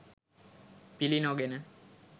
පිළි නොගෙන